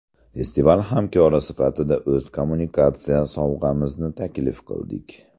Festival hamkori sifatida o‘z kommunikatsiya sovg‘amizni taklif qildik.